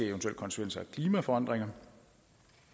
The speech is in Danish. eventuelle konsekvenser af klimaforandringer